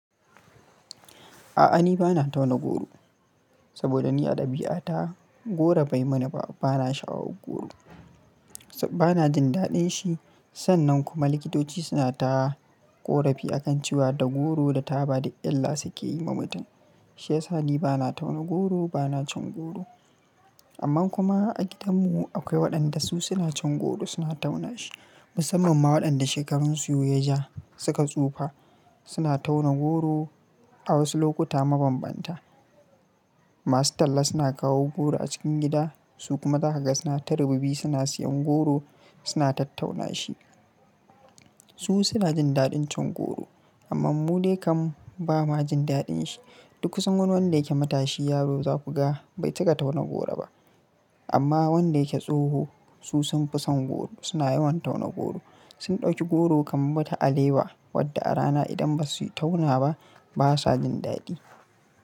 A'a ni bana tauna goro, saboda ni a dabi'ata goro bai mana ba, bana sha'awar goro. Bana jin daɗin shi sannan kuma likitoci suna ta ƙorafi a kan cewa da goro da taba da illa suke yi ma mutum. Shi yasa ni bana tauna goro, bana cin goro. Amma kuma a gidanmu akwai waɗanda su suna cin goro suna tauna shi musamman ma waɗanda shekarun su ya ja suka tsufa suna tauna goro a wasu lokuta mabambanta. Masu talla suna kawo goro a cikin gida su kuma daga suna tarubbi suna siyan goro suna tattauna shi. Su suna jin daɗin cin goro amma mu dai kam ba ma jin daɗin shi. Duk sun wani wanda yake matashi yaro za ku ga bai cika tauna goro ba. Amma wanda yake tsoho su sun fi son goro suna yawan tauna goro. Sun ɗauki goro kamar wata alewa wadda a rana idan ba su yi tauna ba basa jin daɗi.